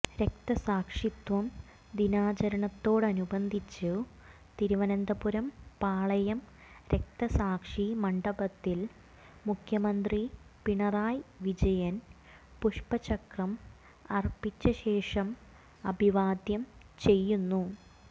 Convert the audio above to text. രക്തസാക്ഷിത്വ ദിനാചരണത്തോടനുബന്ധിച്ചു തിരുവനന്തപുരം പാളയം രക്തസാക്ഷി മണ്ഡപത്തിൽ മുഖ്യമന്ത്രി പിണറായി വിജയൻ പുഷ്പചക്രം അർപ്പിച്ചശേഷം അഭിവാദ്യം ചെയ്യുന്നു